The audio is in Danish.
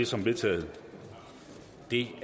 som vedtaget det